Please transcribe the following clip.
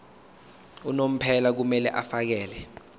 unomphela kumele afakele